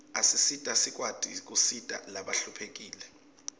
asisita sikwati kusita labahluphekile